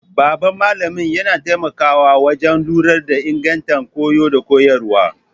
Babban malamin yana taimakawa wajen lura da inganta koyo da koyarwa.